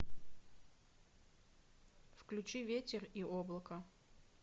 включи ветер и облако